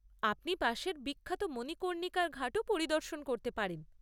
আপনি পাশের বিখ্যাত মণিকর্ণিকার ঘাটও পরিদর্শন করতে পারেন।